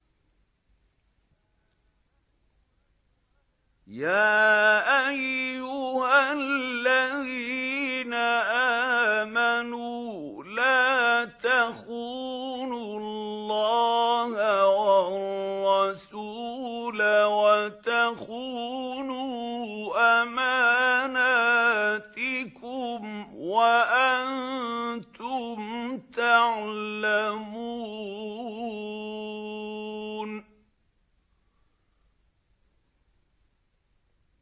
يَا أَيُّهَا الَّذِينَ آمَنُوا لَا تَخُونُوا اللَّهَ وَالرَّسُولَ وَتَخُونُوا أَمَانَاتِكُمْ وَأَنتُمْ تَعْلَمُونَ